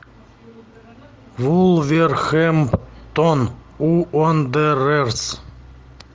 вулверхэмптон уондерерс